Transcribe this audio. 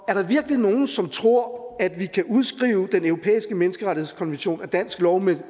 er der virkelig nogen som tror at vi kan udskrive den europæiske menneskerettighedskonvention af dansk lov med